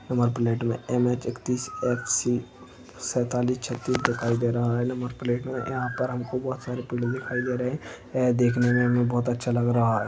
Number प्लेटमे M H एकतीस F C सेतालीस छत्तीस दिखाई दे रहा है नंबर प्लेटमे यहापर हमको बहुत सारे पेड़ दिखाई दे रहा है यह देखने मे हमें बहुत अच्छा लग रहा है।